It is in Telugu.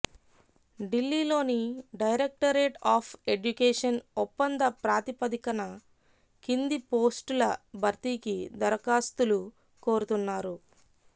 ఢిల్లీలోని డైరెక్టరేట్ ఆఫ్ ఎడ్యుకేషన్ ఒప్పంద ప్రాతిపదికన కింది పోస్టుల భర్తీకి దరఖాస్తులు కోరుతున్నారు